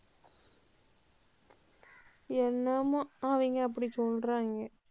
என்னமோ அவங்க அப்படி சொல்றாங்க.